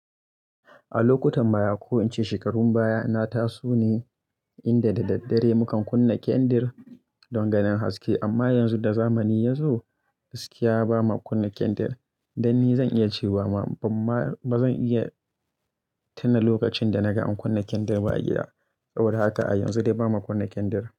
A lokutan baya ko in ce shekarun baya nataso ne inda da daddare mukan kunna kyandir don ganin haske. Amma yanzu da zamani ya zo, gaskiya bama kunna kyandir. Dan ni zan iya cewa ma ban ma ba zan iya tuna lokacin da na ga an kunna kyandir ba a gida. Saboda haka a yanzu dai ba ma kunna kyandir.